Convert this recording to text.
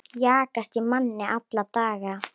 Jagast í manni alla daga.